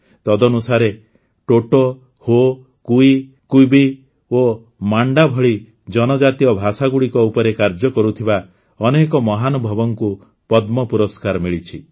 ତଦନୁସାରେ ଟୋଟୋ ହୋ କୁଇ କୁୱି ଓ ମାଣ୍ଡା ଭଳି ଜନଜାତୀୟ ଭାଷାଗୁଡ଼ିକ ଉପରେ କାର୍ଯ୍ୟ କରୁଥିବା ଅନେକ ମହାନୁଭବଙ୍କୁ ପଦ୍ମ ପୁରସ୍କାର ମିଳିଛି